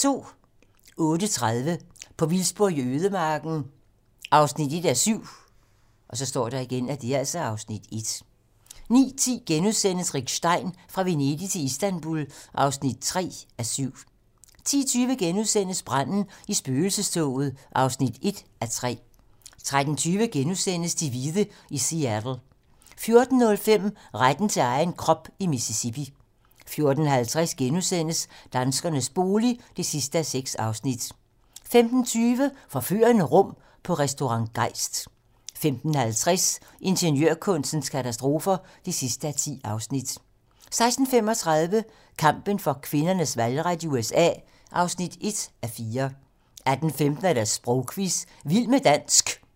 08:30: På vildspor i ødemarken (1:7) (Afs. 1) 09:10: Rick Stein: Fra Venedig til Istanbul (3:7)* 10:20: Branden i spøgelsestoget (1:3)* 13:20: De hvide i Seattle * 14:05: Retten til egen krop i Mississippi 14:50: Danskernes bolig (6:6)* 15:20: Forførende rum på Restaurant Geist 15:50: Ingeniørkunstens katastrofer (10:10) 16:35: Kampen for kvinders valgret i USA (1:4) 18:15: Sprogquizzen - vild med dansk